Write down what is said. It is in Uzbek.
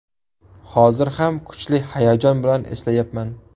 Hozir ham kuchli hayajon bilan eslayapman.